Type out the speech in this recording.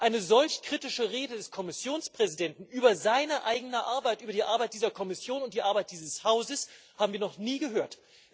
Eine solch kritische Rede des Kommissionspräsidenten über seine eigene Arbeit, über die Arbeit dieser Kommission und die Arbeit dieses Hauses haben wir noch nie gehört.